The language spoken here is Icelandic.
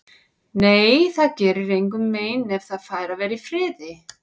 Nei, það gerir engum mein ef það fær að vera í friði.